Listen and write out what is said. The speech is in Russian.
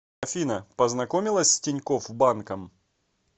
афина познакомилась с тинькофф банком